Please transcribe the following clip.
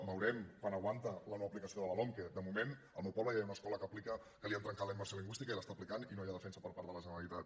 veurem quant aguanta la no aplicació de la lomqe de moment al meu poble ja hi ha una escola que l’aplica que li han trencat la immersió lingüística i l’està aplicant i no hi ha defensa per part de la generalitat